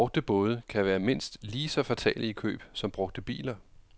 Brugte både kan være mindst lige så fatale i køb som brugte biler.